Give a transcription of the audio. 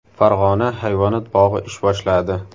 Farg‘ona hayvonot bog‘i ish boshladi.